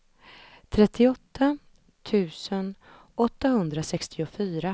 åttiotvå tusen fyrahundratjugoett